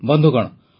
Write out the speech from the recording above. ବନ୍ଧୁଗଣ